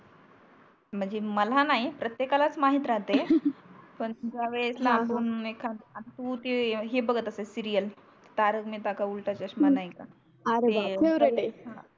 म्हणजे मला नाही प्रतेकाला माहीत राहते पण ज्या वेळेस ला हून एखादा आता तु ते हे बगत असते सीरियल तारख महेता का उलटा चश्मा नाही का ते अरे बा फॅव्होराइट आहे